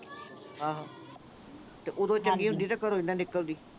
ਆਹੋ ਤੇ ਇਹ ਜੇ ਚੰਗੀ ਹੁੰਦੀ ਤਾਂ ਘਰੋਂ ਹੀ ਨਾ ਨਿਕਲਦੀ।